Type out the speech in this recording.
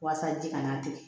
Walasa ji kana tigɛ